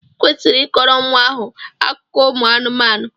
Ị kwesịrị ị kọrọ nwa ahụ akụkọ ụmụ anụmanụ!